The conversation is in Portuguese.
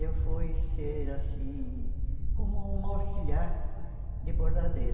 E eu fui ser, assim, como uma auxiliar de bordadeira.